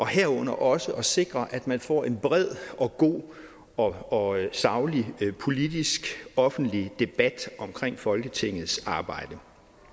herunder også at sikre at man får en bred og god og saglig politisk offentlig debat omkring folketingets arbejde